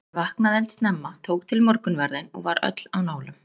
Ég vaknaði eldsnemma, tók til morgunverðinn og var öll á nálum.